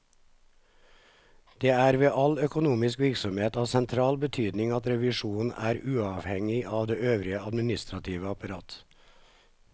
Det er ved all økonomisk virksomhet av sentral betydning at revisjonen er uavhengig av det øvrige administrative apparat.